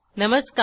नमस्कार